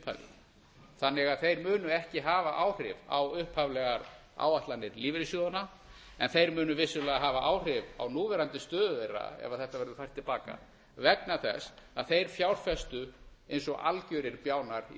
upphafi þannig að þeir munu ekki hafa áhrif á upphaflegar áætlanir lífeyrissjóðanna en þeir munu vissulega hafa áhrif á núverandi stöðu þeirra ef þetta verður fært til baka vegna þess að þeir fjárfestu eins og algjörir bjánar í